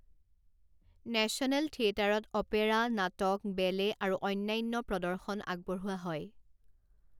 National থিয়েটাৰত opera, নাটক, ballet আৰু অন্যান্য প্ৰদৰ্শন আগবঢ়োৱা হয়।